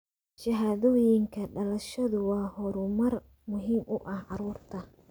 Shahaadooyinka dhalashadu waa horumar muhiim u ah carruurta.